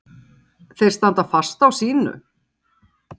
Hjörtur: Þeir standa fast á sínu?